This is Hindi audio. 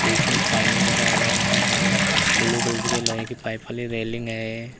इसमें पानी भरा हुआ है और ब्लू कलर के लोहे की पाइप वाली रेलिंग है।